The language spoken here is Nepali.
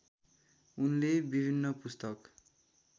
उनले विभिन्न पुस्तक